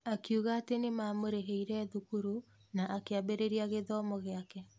Akiuga atĩ nĩmamũrĩhĩire thukuru na akĩambĩrĩria gĩthomo gĩake.